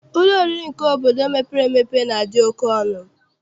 Ụlọ oriri nke obodo mepere emepe na-adị oke ọnụ.